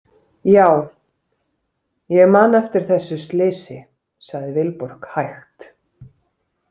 Já, ég man eftir þessu slysi, sagði Vilborg hægt.